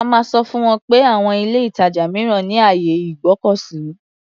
A máa sọ fún wọn pé àwon ilé-ìtàjà mìíràn ní àyè ìgbọ́kọ̀sí.